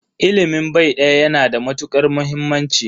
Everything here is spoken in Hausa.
Ilimin bai daya yana da matukar muhimmanci.